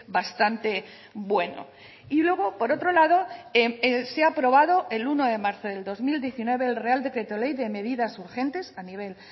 bastante bueno y luego por otro lado se ha aprobado el uno de marzo del dos mil diecinueve el real decreto ley de medidas urgentes a nivel